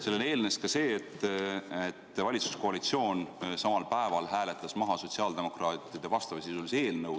Sellele eelnes ka see, et valitsuskoalitsioon samal päeval hääletas maha sotsiaaldemokraatide vastavasisulise eelnõu.